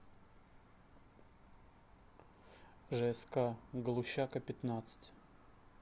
жск галущака пятнадцать